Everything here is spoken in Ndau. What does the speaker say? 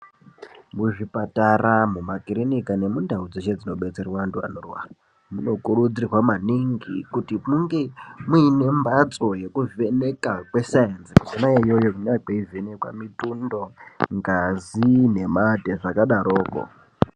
Muzvipatara , mumakirinika nemundau dzeshe dzinadetserwa antu anorwara munokuridzirwa maningi kuti munge muine mbatso yekuvheneka kwesayenzi Kona iyoyo kunenge kweivhenekwa mitundo, ngazi nemate nezvakadaroko.